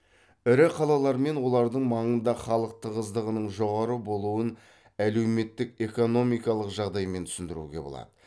ірі қалалар мен олардың маңында халық тығыздығының жоғары болуын әлеуметтік экономикалық жағдаймен түсіндіруге болады